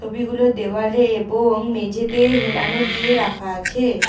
ছবিগুলো দেওয়ালে এবং মেঝেতে হেলানো দিয়ে রাখা আছে।